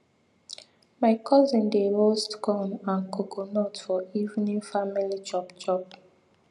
my cousin dey roast corn and coconut for evening family chop chop